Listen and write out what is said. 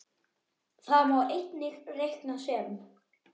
Það má einnig reikna sem